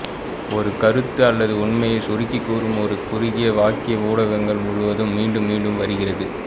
ஒரு கருத்து அல்லது உண்மையைச் சுருக்கிக் கூறும் ஒரு குறுகிய வாக்கியம் ஊடகங்கள் முழுவதும் மீண்டும் மீண்டும் வருகிறது